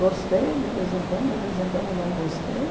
Gostei de vez em quando, de vez em quando não gostei.